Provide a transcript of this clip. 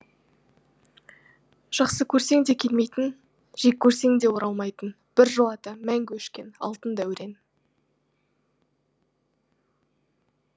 жақсы көрсең де келмейтін жек көрсең де оралмайтын біржолата мәңгі өшкен алтын дәурен